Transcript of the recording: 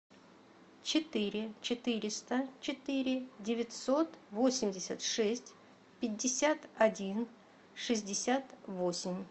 четыре четыреста четыре девятьсот восемьдесят шесть пятьдесят один шестьдесят восемь